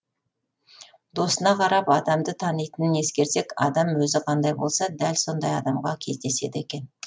досына қарап адамды танитынын ескерсек адам өзі қандай болса дәл сондай адамға кездеседі екен